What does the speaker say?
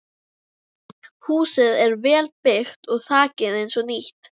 Húsið er vel byggt og þakið eins og nýtt.